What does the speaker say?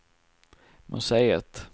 museet